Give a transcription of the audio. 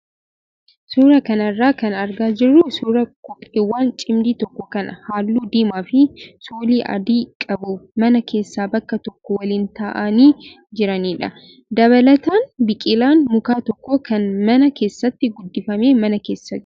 Suuraa kana irraa kan argaa jirru suuraa kopheewwan cimdii tokko kan halluu diimaa fi soolii adii qabu mana keessa bakka tokko waliin taa'anii jiranidha. Dabalataan biqilaan mukaa tokko kan mana keessatti guddifame mana keessa jira.